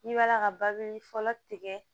N'i b'a la ka babuli fɔlɔ tigɛ